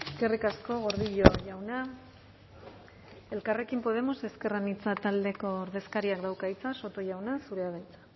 eskerrik asko gordillo jauna elkarrekin podemos ezker anitza taldeko ordezkariak dauka hitza soto jauna zurea da hitza